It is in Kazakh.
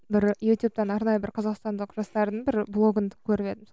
бір ютубтан арнайы бір қазақстандық жастардың бір блогын көріп едім